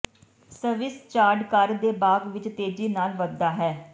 Swiss chard ਘਰ ਦੇ ਬਾਗ਼ ਵਿਚ ਤੇਜ਼ੀ ਨਾਲ ਵਧਦਾ ਹੈ